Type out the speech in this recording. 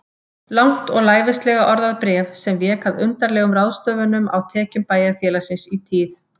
Langt og lævíslega orðað bréf sem vék að undarlegum ráðstöfunum á tekjum bæjarfélagsins í tíð